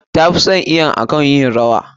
Ta fi son iwo akan yin rawa.